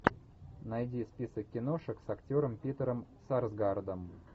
найди список киношек с актером питером сарсгаардом